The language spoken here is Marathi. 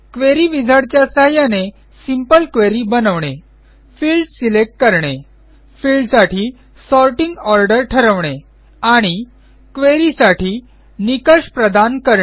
क्वेरी विझार्ड च्या सहाय्याने सिंपल क्वेरी बनवणे फिल्डस सिलेक्ट करणे फिल्डसाठी सॉर्टिंग ऑर्डर ठरवणे आणि क्वेरी साठी निकष प्रदान करणे